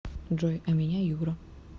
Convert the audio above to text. джой а меня юра